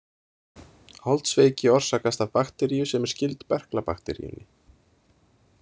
Holdsveiki orsakast af bakteríu sem er skyld berklabakteríunni.